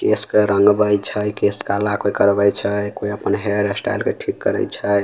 केश के रंगवई छई केश काला कोई करवई छई कोई अपन हेयर स्टाइल के ठीक करई छई।